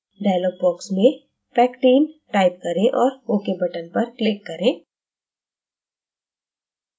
dialog box में pectin type करें और ok button पर click करें